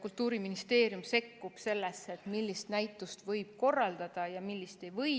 Kultuuriministeerium sekkub sellesse, millist näitust võib korraldada ja millist ei või.